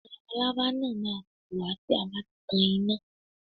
Àwọn labalábá náà má a fò wá tí a bá tan iná